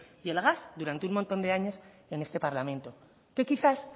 y el gas durante un montón de años en este parlamento que quizás